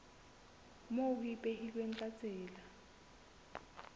moo ho ipehilweng ka tsela